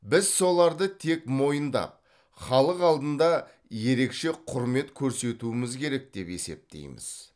біз соларды тек мойындап халық алдында ерекше құрмет көрсетуіміз керек деп есептейміз